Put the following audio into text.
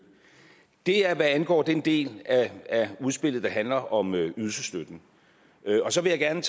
det er hvad angår den del af udspillet der handler om ydelsesstøtten så vil jeg gerne